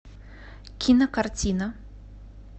кинокартина